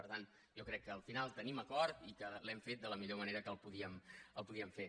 per tant jo crec que al final tenim acord i que l’hem fet de la millor manera que el podíem fer